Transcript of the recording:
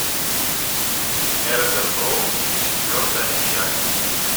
эрго прокси четвертая часть